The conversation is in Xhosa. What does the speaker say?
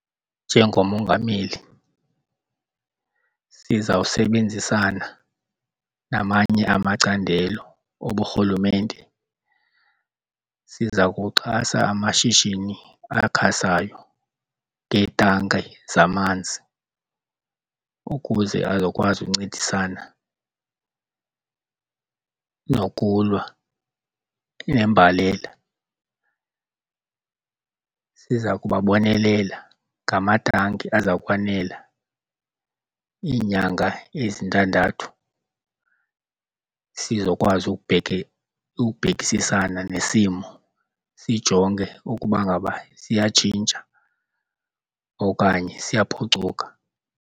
Njengomongameli sizawusebenzisana namanye amacandelo oburhulumente. Siza kuxhasa amashishini akhasayo ngeetanki zamanzi ukuze azokwazi uncedisana nokulwa nembalela. Siza kubabonelela ngamatanki aza kwanela iinyanga ezintandathu sizokwazi ukubhekisisana nesimo sijonge ukuba ngaba siyatshintsha okanye ziyaphucuka.